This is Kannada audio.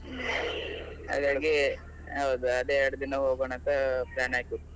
. ಹಾಗಾಗಿ ಹೌದು ಅದೇ ಎರಡು ದಿನ ಹೋಗೋಣ ಅಂತ plan ಹಾಕಿದ್.